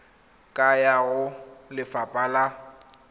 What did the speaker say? ka ya go lefapha la